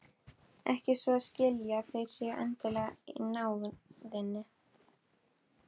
Ekki svo að skilja að þeir séu endilega í náðinni.